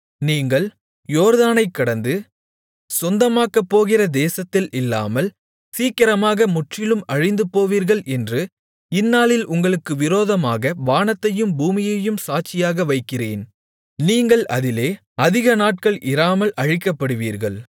நீங்கள் யோர்தானைக்கடந்து சொந்தமாக்கப்போகிற தேசத்தில் இல்லாமல் சீக்கிரமாக முற்றிலும் அழிந்துபோவீர்கள் என்று இந்நாளில் உங்களுக்கு விரோதமாக வானத்தையும் பூமியையும் சாட்சியாக வைக்கிறேன் நீங்கள் அதிலே அதிக நாட்கள் இராமல் அழிக்கப்படுவீர்கள்